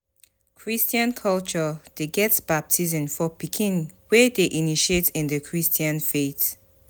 Christain culture de get baptism for pikin wey de initiate in the Christian faith